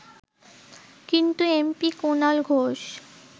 কিন্তু এমপি কুনাল ঘোষ